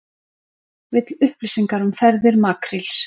Vill upplýsingar um ferðir makríls